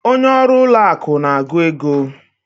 Onye ọrụ ụlọ akụ na-agụ ego.